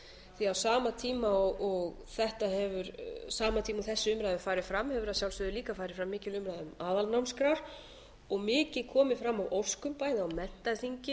því á sama tíma og þessi umræða hefur farið fram hefur að sjálfsögðu líka farið fram mikil umræða um aðalnámskrár og mikið komið fram af óskum bæði á menntaþingi síðasta sem haldið var